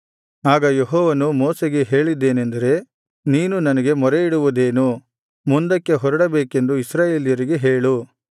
ಆಗ ಯೆಹೋವನು ಮೋಶೆಗೆ ಹೇಳಿದ್ದೇನೆಂದರೆ ನೀನು ನನಗೆ ಮೊರೆಯಿಡುವುದೇನು ಮುಂದಕ್ಕೆ ಹೊರಡಬೇಕೆಂದು ಇಸ್ರಾಯೇಲರಿಗೆ ಹೇಳು